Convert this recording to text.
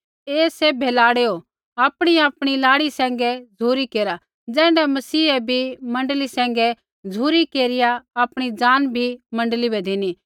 हे सैभे लाड़ैओ आपणीआपणी लाड़ी सैंघै झ़ुरी केरा ज़ैण्ढा मसीहै भी मण्डली सैंघै झ़ुरी केरिया आपणी जांन भी मण्डली बै धिनी